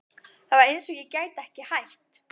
Það var eins og ég gæti ekki hætt.